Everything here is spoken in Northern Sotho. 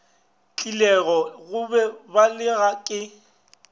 tlilego go ba belega ke